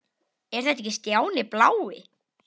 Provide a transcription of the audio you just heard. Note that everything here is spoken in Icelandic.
Er þetta ekki Stjáni blái?!